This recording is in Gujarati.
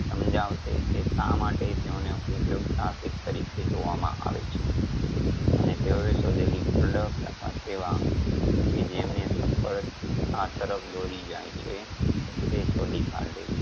સમજાવશે કે શા માટે તેઓને ઉધ્યોગ સાહસિક તરીકે જોવામાં આવે છે. અને તેઓએ શોધેલી product અથવા તેવા કે જેમને સફળતા તરફ દોરી જાય છે એ શોધી કાઢે છે.